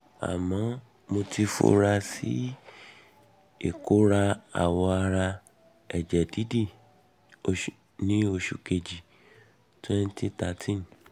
àmọ́ mo ti fura sí ìkórà awọ ara ẹ̀jẹ̀ dídì ní oṣù kejìlá ọdún twenty thirteen